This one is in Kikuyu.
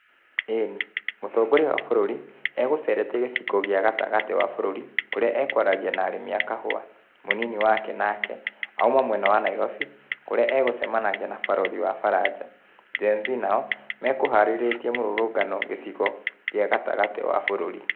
Ĩĩni, mũtongoria wa bũrũri, egũcerete gĩcigo kĩa gatagati wa bũrũri, kũrĩa akũaragia na arĩmi a kahũa. Mũnini wake nake, auma mwena wa Nairobi, kũrĩa egũcemanagia na barothi wa baranja. Gen Z nao, mekũharĩrĩtie mũrũrũngano gĩcigo gĩa gatagatĩ wa bũrũri.